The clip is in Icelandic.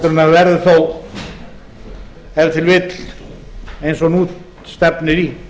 en verður þó ef til vill eins og nú stefnir í